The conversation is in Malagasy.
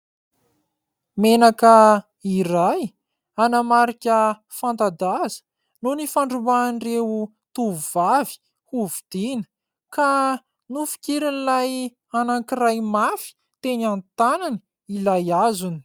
Menaka iray, ana marika fanta-daza no nifandrombahan'ireo tovovavy hovidiana ka nofikirin'ilay anankiray mafy teny an-tanany ilay azony.